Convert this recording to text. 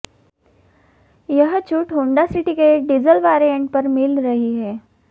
यह छूट Honda City के डीजल वेरियंट पर मिल रही है